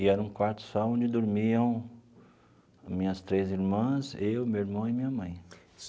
E era um quarto só onde dormiam minhas três irmãs, eu, meu irmão e minha mãe.